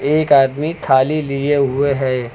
एक आदमी थाली लिए हुए हैं।